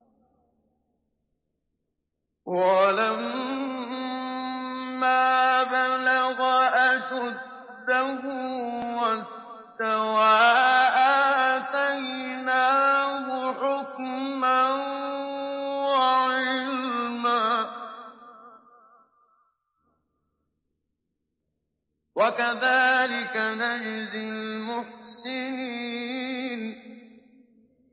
وَلَمَّا بَلَغَ أَشُدَّهُ وَاسْتَوَىٰ آتَيْنَاهُ حُكْمًا وَعِلْمًا ۚ وَكَذَٰلِكَ نَجْزِي الْمُحْسِنِينَ